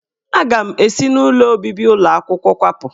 Aga m esi n'ụlọ obibi ụlọ akwụkwọ kwapụ.